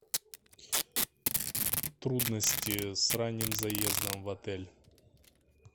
трудности с ранним заездом в отель